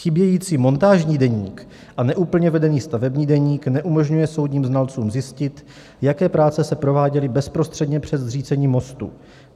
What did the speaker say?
Chybějící montážní deník a neúplně vedený stavební deník neumožňuje soudním znalcům zjistit, jaké práce se prováděly bezprostředně před zřícením mostu.